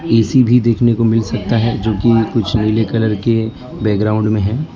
AC भी देखने को मिल सकता है जोकि कुछ नीले कलर के है बैकग्राउंड में है।